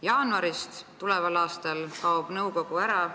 Jaanuaris tuleval aastal kaob nõukogu ära.